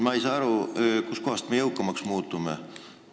Ma ei saa aru, kust kohast me jõukamaks muutume.